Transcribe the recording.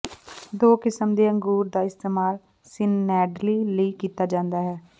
ਦੋ ਕਿਸਮ ਦੇ ਅੰਗੂਰ ਦਾ ਇਸਤੇਮਾਲ ਸੀਨੈਂਡਲੀ ਲਈ ਕੀਤਾ ਜਾਂਦਾ ਹੈ